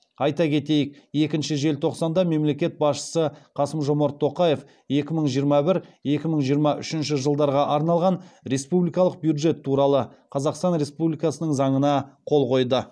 айта кетейік екінші желтоқсанда мемлекет басшысы қасым жомарт тоқаев екі мың жиырма бір екі мың жиырма үшінші жылдарға арналған республикалық бюджет туралы қазақстан республикасының заңына қол қойды